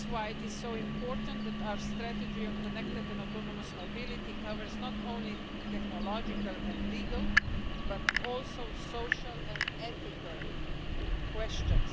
This is why it is so important that our strategy on connected and autonomous mobility covers not only technological and legal but also social and ethical questions.